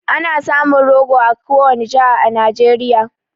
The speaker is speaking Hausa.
Ana samun rogo a kowani jiha a Nijeriya